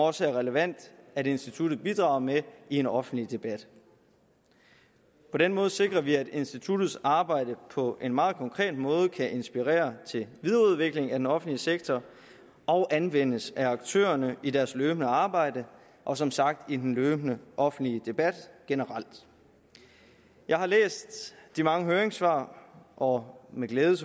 også er relevant at instituttet bidrager med i en offentlig debat på den måde sikrer vi at instituttets arbejde på en meget konkret måde kan inspirere til videreudvikling af den offentlige sektor og anvendes af aktørerne i deres løbende arbejde og som sagt i den løbende offentlige debat generelt jeg har læst de mange høringssvar og med glæde